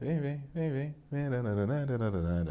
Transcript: Vem, vem, vem, vem.